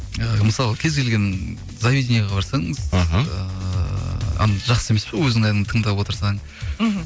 ііі мысалы кез келген заведенияға барсаңыз іхі ыыы жақсы емес па өзіңнің әніңді тыңдап отырсаң мхм